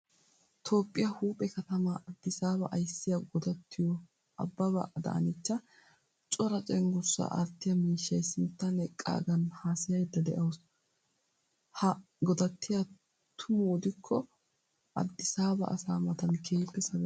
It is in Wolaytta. Toophphiyaa huuphphee katama addisaba aysiya godatiyo ababa adanecha cora cenggurssa aattiya miishshay sinttan eqqagan haasayaydda deawusu. Ha godattiya tuma odikko addisaba asaa matan keehippe sabetawusu.